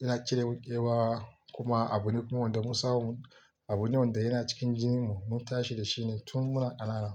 yana cire mun ƙewa kuma abune kuma wanda mun samu, abune wanda yana cikin jininmu, mun tashi da shi ne tun muna ƙanana.